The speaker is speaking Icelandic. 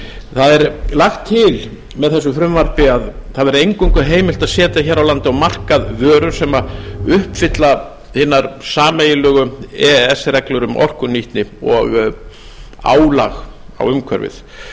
það er lagt til með þessu frumvarpi að eingöngu verði heimilt að setja hér á landi á markað vörur sem uppfylla hinar sameiginlegu e e s reglur um orkunýtni og álag á umhverfið það eru